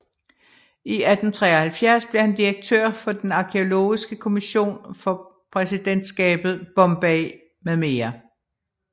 I 1873 blev han direktør for den arkæologiske kommission for præsidentskabet Bombay med mere